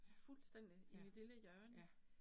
Ja, ja, ja